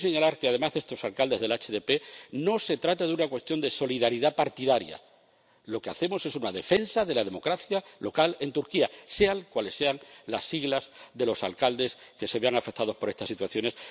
Pero quiero señalar, que, además, con el caso de estos alcaldes del HDP no se trata de una cuestión de solidaridad partidaria, lo que hacemos es una defensa de la democracia local en Turquía, sean cuales sean las siglas de los alcaldes que se vean afectados por estas situaciones.